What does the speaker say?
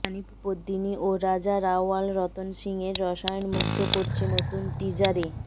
রানি পদ্মিনী ও রাজা রাওয়াল রতন সিং এর রসায়ন মুগ্ধ করছে নতুন টিজারে